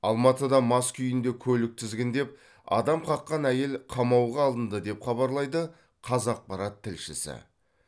алматыда мас күйінде көлік тізгіндеп адам қаққан әйел қамауға алынды деп хабарлайды қазақпарат тілшісі